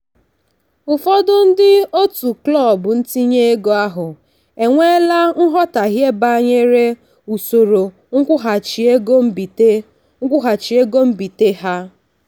ụfọdụ ndị otu klọb ntinye ego ahụ enweela nghọtahie banyere usoro nkwụghachi ego mbite nkwụghachi ego mbite ha.